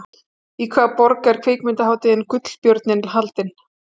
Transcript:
Í hvaða borg er kvikmyndahátíðin Gullbjörninn haldin?